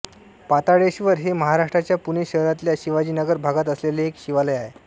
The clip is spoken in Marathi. पाताळेश्वर हे महाराष्ट्राच्या पुणे शहरातल्या शिवाजीनगर भागात वसलेले एक शिवालय आहे